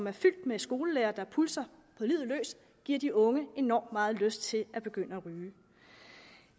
er fyldt med skolelærere der pulser på livet løs giver de unge enormt meget lyst til at begynde at ryge